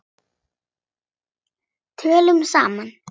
Tölum saman.